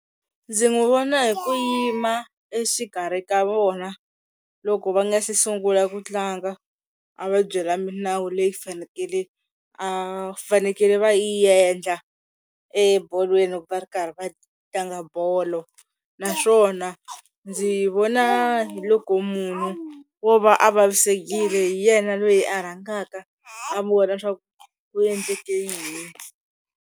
Ndzi n'wi vona hi ku yima exikarhi ka vona loko va nga se sungula ku tlanga a va byela minawu leyi fanekele va fanekele va yi endla ebolweni va ri karhi va tlanga bolo, naswona ndzi vona hi loko munhu wo va a vavisekile hi yena loyi a rhangaka a vona swa ku ku endleke yini.